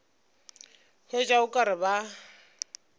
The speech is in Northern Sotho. hwetša o ka re ba